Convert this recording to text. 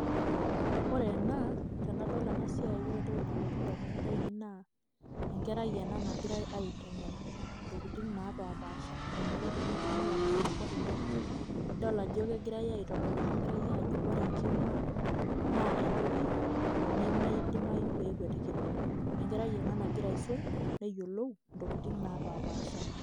ore ena tenadol ena siiai ore entoki nalotu damunot, aainei naa enkerai ena nagirae, aitengen intokitin naapashipaasha, eniko tenitumia arashu eneiko tenu. idol ajo kegirae aitodol ena keari aajo, ore enkima, naa entoki nemeidimayu pee ekwetikini. ennkerai ena nagira aisum, neyiolou intokitin naapashipasha.